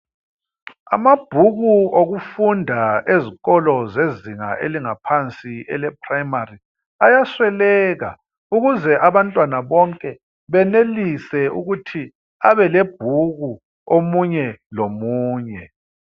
Amabhuku okufunda esikolo zezinga elingaphansi eleprimary ayasweleka ukuze abantwana bonke benelise ukuthi babe lebhuku omunye lomunye.